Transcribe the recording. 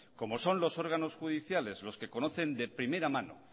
como son los órganos judiciales los que conocen de primera mano